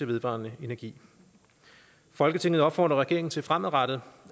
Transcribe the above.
vedvarende energi folketinget opfordrer regeringen til fremadrettet